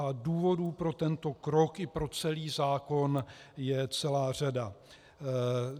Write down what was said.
A důvodů pro tento krok i pro celý zákon je celá řada.